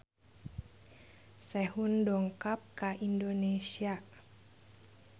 Sehun dongkap ka Indonesia